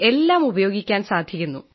എല്ലാം ഉപയോഗിക്കാൻ സാധിക്കുന്നു